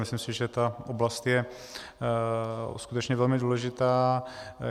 Myslím si, že tato oblast je skutečně velmi důležitá.